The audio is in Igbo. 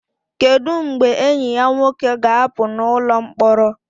Kedu mgbe enyi ya nwoke ga-apụ n'ụlọ mkpọrọ?